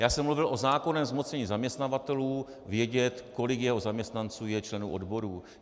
Já jsem mluvil o zákonném zmocnění zaměstnavatelů vědět, kolik jeho zaměstnanců je členů odborů.